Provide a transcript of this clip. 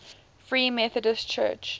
free methodist church